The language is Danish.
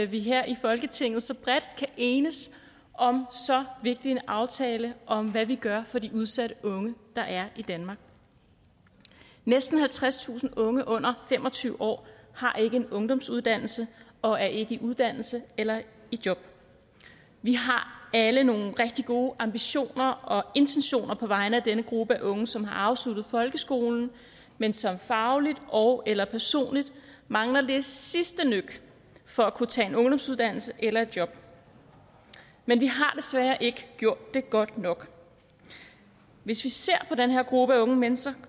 vi her i folketinget så bredt kan enes om så vigtig en aftale om hvad vi gør for de udsatte unge der er i danmark næsten halvtredstusind unge under fem og tyve år har ikke en ungdomsuddannelse og er ikke i uddannelse eller i job vi har alle nogle rigtig gode ambitioner og intentioner på vegne af denne gruppe af unge som har afsluttet folkeskolen men som fagligt ogeller personligt mangler det sidste nøk for at kunne tage en ungdomsuddannelse eller et job men vi har desværre ikke gjort det godt nok hvis vi ser på den her gruppe unge mennesker